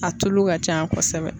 A tulu ka can kosɛbɛ.